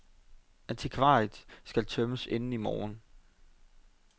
Antikvariatet skal tømmes inden i morgen.